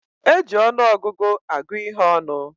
E ji ọnụọgụgụ agụ ihé ọnụ